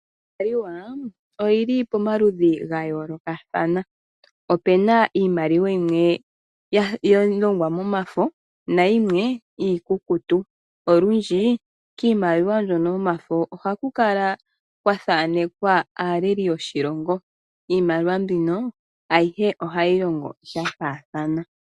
Iimaliw aoyi li pamaludhi ga yoolokathana. Opu na iimaliwa yimwe ya longwa momafo nayimwe iikukutu. Olundji kiimaliwa mbyoka yomafo ohaku kala kwa thanekwa aaleli yoshilongo. Iimaliwa mbino ayihe ohayi longo sha faathana.